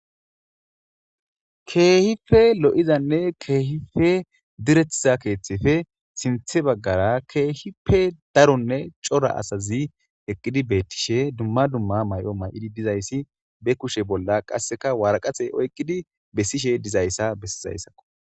keehife lo7izanne keehife direttiza keeththefe sinthe baggara keehipe daronne cora asazi eqqidi beettishe dumma dumma may7o may7idi dizayssi be kushe bolla qasseka waraqate oyqqidi bessishe dizayssa bessizayssakko